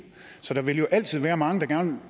så der vil jo altid være mange der gerne